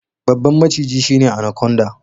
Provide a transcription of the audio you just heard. Babban maciji shine anaconda.